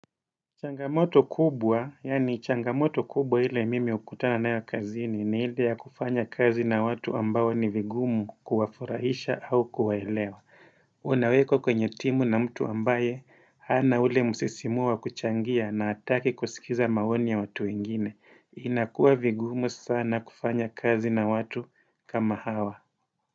Changamoto kubwa, yaani changamoto kubwa ile mimi hukutana nayo kazini ni ile ya kufanya kazi na watu ambao ni vigumu kuwafurahisha au kuwaelewa. Unawekwa kwenye timu na mtu ambaye hana ule msisimuo wa kuchangia na hataki kusikiza maoni ya watu wengine. Inakuwa vigumu sana kufanya kazi na watu kama hawa.